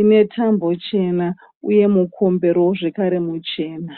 ine tambo chena uye mukomberowo zvekare muchena.